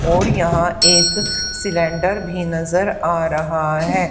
और यहां एक सिलेंडर भी नजर आ रहा है।